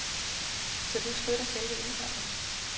Så du støtter selve indsamlingen.